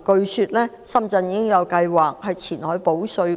據說，深圳已計劃在前海保稅